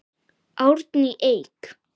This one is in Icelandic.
Árný Eik.